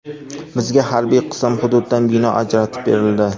Bizga harbiy qism hududidan bino ajratib berildi.